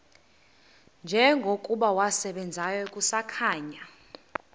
njengokuba wasebenzayo kusakhanya